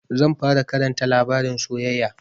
Zan fara Karanta labarin soyayya.